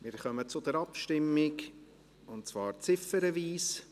Wir kommen zur Abstimmung, und zwar ziffernweise.